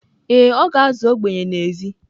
Ee e, ọ ga-azụ ogbenye n’èzí